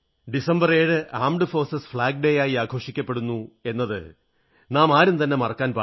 എന്റെ പ്രിയപ്പെട്ട ജനങ്ങളേ ഡിസംബർ 7 സായുധ സേനാ പതാകദിനമായി ആഘോഷിക്കപ്പെടുന്നു എന്നത് നാം ആരും തന്നെ മറക്കാൻ പാടില്ല